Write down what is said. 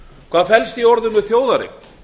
hvað felst í orðinu þjóðareign